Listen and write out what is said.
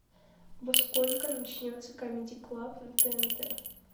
во сколько начнется камеди клаб на тнт